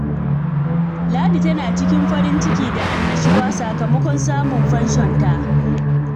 Ladi tana cikin farin ciki da annashuwa sakamakon samun fanshonta.